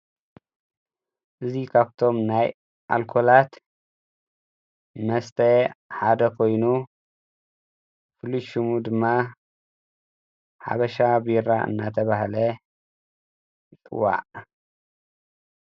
እዚ ካብቶም ናይ ኣልኮላት መሰተ ሓደ ኮይኑ ፉሉይ ሽሙ ድማ ሓበሻ ቤራ እናተባሃለ ይፅዋዕ።